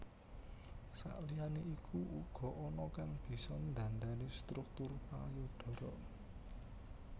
Sakliyane iku uga ana kang bisa ndhandhani struktur payudara